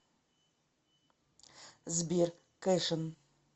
сбер кэшин